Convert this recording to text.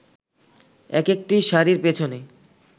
একেকটি শাড়ির পেছনে